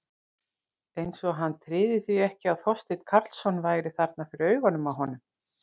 Eins og hann tryði því ekki að Þorsteinn Karlsson væri þarna fyrir augunum á honum.